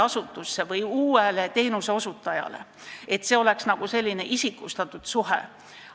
See tähendab sellist isikustatud suhet.